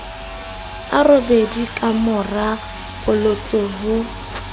a robedi kamora polotso ho